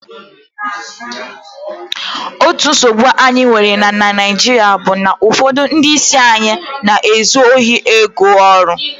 otu nsogbu anyi nwere na naijiria bu na ufodu ndi isi anyi n'ezu ohi ego oru